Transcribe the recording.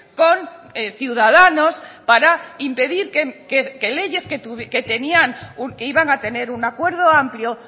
con ciudadanos para impedir que leyes que tenían o que iban a tener un acuerdo amplio